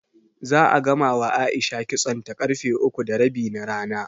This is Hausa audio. Za'a gamawa A'isha kitsonta ƙarfe uku da rabi na rana.